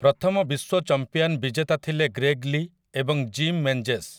ପ୍ରଥମ ବିଶ୍ୱ ଚମ୍ପିୟାନ୍ ବିଜେତା ଥିଲେ ଗ୍ରେଗ୍ ଲି ଏବଂ ଜିମ୍ ମେନ୍‌ଜେସ୍ ।